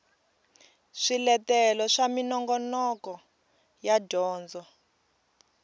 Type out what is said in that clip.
swiletelo swa minongoloko ya dyondzo